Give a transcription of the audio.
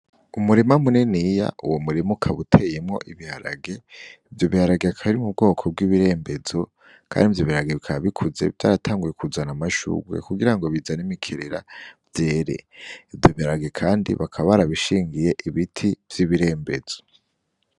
Umurima munininya, uwo murima ukaba uteyemwo ibiharage , ivyo biharage bikaba biri mu bwoko bw'ibirembezo , kandi ivyo biharage bikaba bikuze vyaratanguye kuzana amashurwe kugira ngo bizane imikerera vyere Ivyo biharage kandi bakaba barabishingiye ibiti vy'ibirembezo .